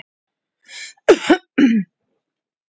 Lítum nú á svar Tryggva Þorgeirssonar, Hvað er sólin stór?